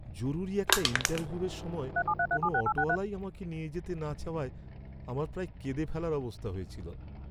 জরুরি একটা ইন্টারভিউয়ের সময় কোনও অটোওয়ালাই আমাকে নিয়ে যেতে না চাওয়ায় আমার প্রায় কেঁদে ফেলার অবস্থা হয়েছিল।